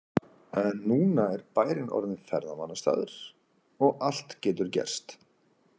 En núna er bærinn orðinn ferðamannastaður og allt getur gerst.